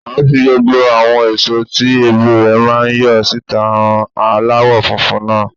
À ń́ fi gbogbo àwọn èso tí èbù rẹ̀ máa ń yọ síta han aláwọ̀ funfun náà.